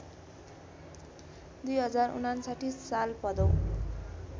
२०५९ साल भदौ